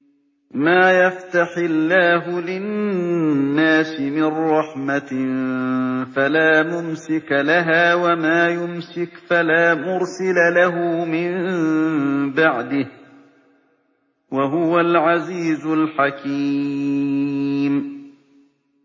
مَّا يَفْتَحِ اللَّهُ لِلنَّاسِ مِن رَّحْمَةٍ فَلَا مُمْسِكَ لَهَا ۖ وَمَا يُمْسِكْ فَلَا مُرْسِلَ لَهُ مِن بَعْدِهِ ۚ وَهُوَ الْعَزِيزُ الْحَكِيمُ